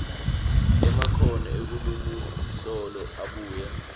emakhono enkhulumoluhlolo abuye